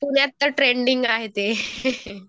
पुण्यात तर ट्रेंडिंग आहे ते.